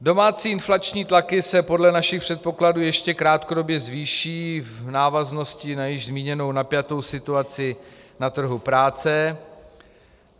Domácí inflační tlaky se podle našich předpokladů ještě krátkodobě zvýší v návaznosti na již zmíněnou napjatou situaci na trhu práce.